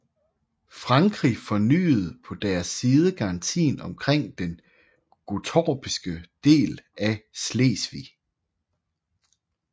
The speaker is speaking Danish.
Frankrig fornyede på deres side garantien omkring den gottorpske del af Slesvig